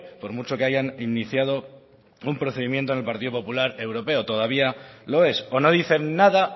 por mucho que hayan iniciado un procedimiento en el partido popular europeo todavía lo es o no dicen nada